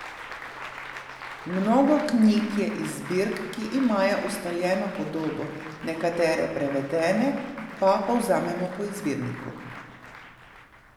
Mnogo knjig je iz zbirk, ki imajo ustaljeno podobo, nekatere prevedene pa povzamemo po izvirniku.